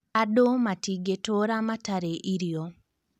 Andũ matigĩtũra matarĩ irio